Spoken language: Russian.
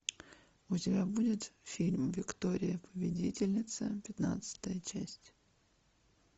у тебя будет фильм виктория победительница пятнадцатая часть